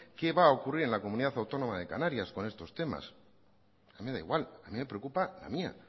qué va a ocurrir en la comunidad autónoma de canarias con estos temas a mí me da igual a mí me preocupa la mía